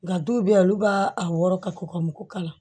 Nka dɔw bɛ yen olu b'a a wɔɔrɔ ka kɔkɔ mugu k'a la